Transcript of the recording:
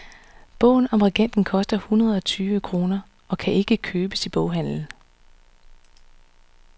Bogen om regenten koster hundrede og tyve kroner og kan ikke købes i boghandlen.